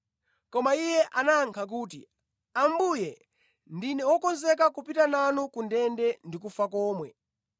Koma iye anayankha kuti, “Ambuye, ndine wokonzeka kupita nanu ku ndende ndi kufa komwe.”